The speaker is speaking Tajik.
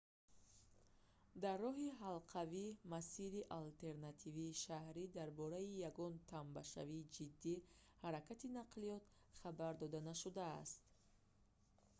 дар роҳи ҳалқавӣ масири алтернативии шаҳрӣ дар бораи ягон тамбашавии ҷидди ҳаракати нақлиёт хабар дода нашудааст